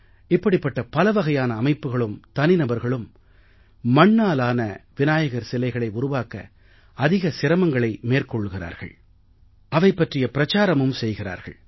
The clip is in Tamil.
இப்படிப்பட்ட பலவகையான அமைப்புக்களும் தனிநபர்களும் மண்ணாலான விநாயகர் சிலைகளை உருவாக்க அதிக சிரமங்களை மேற்கொள்கிறார்கள் அவை பற்றி பிரச்சாரமும் செய்கிறார்கள்